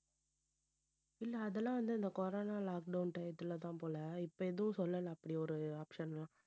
இல்லை அதெல்லாம் வந்து இந்த corona lockdown time த்துலதான் போல இப்ப எதுவும் சொல்லலை அப்படி ஒரு option லாம்